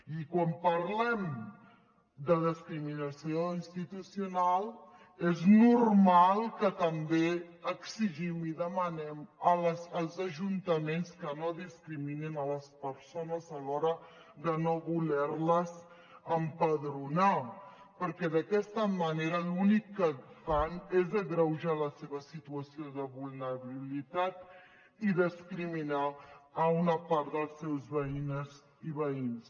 i quan parlem de discriminació institucional és normal que també exigim i demanem als ajuntaments que no discriminin les persones a l’hora de no voler les empadronar perquè d’aquesta manera l’únic que fan és agreujar la seva situació de vulnerabilitat i discriminar una part de les seves veïnes i veïns